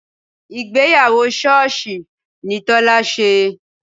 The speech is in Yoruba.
Ìgbéyàwó sọ́ọ̀sì ni Tọ́lá ṣe